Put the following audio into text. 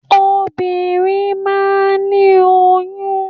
Obìnrin máà ń ní oyún.